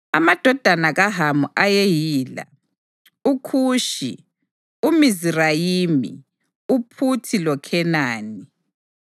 Amadodana kaHamu ayeyila: uKhushi, uMizirayimi, uPhuthi loKhenani.